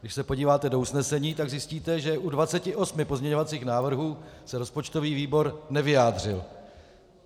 Když se podíváte do usnesení, tak zjistíte, že u 28 pozměňovacích návrhů se rozpočtový výbor nevyjádřil.